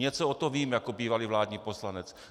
Něco o tom vím jako bývalý vládní poslanec.